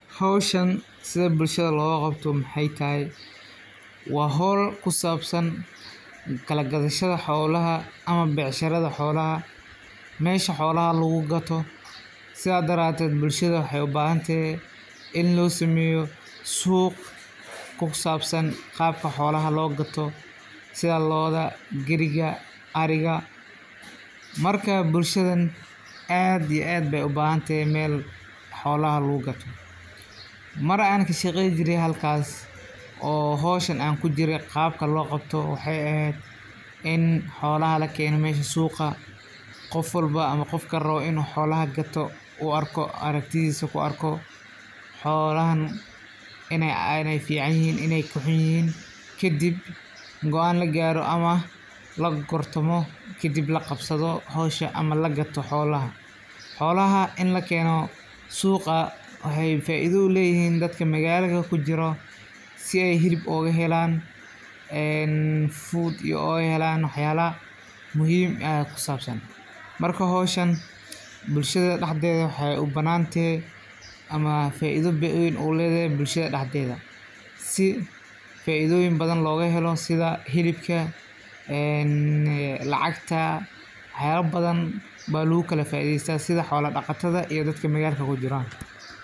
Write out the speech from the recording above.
Howshan sidaa bulshada loga qabta waxa waye waa howl kusabsan kalagadashada xolaha ama becsharada xolaha waa dhaqan dhaqaale iyo bulsho oo muhiim ah, gaar ahaan miyiga iyo meelaha ay xooluhu laf-dhabarka u yihiin nolosha dadka. Dadka xoolo-dhaqatada ah waxay xoolaha u isticmaalaan sidii hanti lagu kala iibsado, looguna beddesho alaabo ama adeegyo kale oo ay u baahan yihiin sida raashin, dhar, daawo iyo adeegyo kale. Sidoo kale, kala gadashada xooluhu waxay kor u qaadaa dhaqaalaha deegaanka, waxayna suurtogal ka dhigtaa in dadka kala duwan ay is dhaafsadaan kheyraadkooda. Waa hab dhaqameed soo jireen ah.